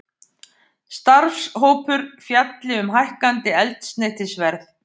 Starfshópur fjalli um hækkandi eldsneytisverð